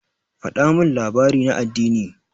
Faɗa min labari na addini.